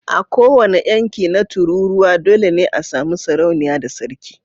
A kowane yanki na tururuwa dole ne a sami sarauniya da sarki